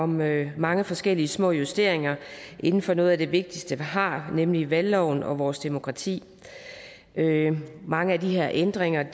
med mange forskellige små justeringer inden for noget af det vigtigste vi har nemlig valgloven og vores demokrati mange af de her ændringer